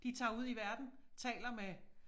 De tager ud i verden taler med